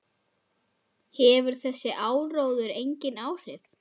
Hefur þessi áróður engin áhrif?